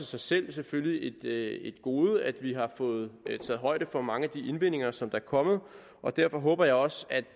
sig selv selvfølgelig et gode at vi har fået taget højde for mange af de indvendinger som der er kommet og derfor håber jeg også at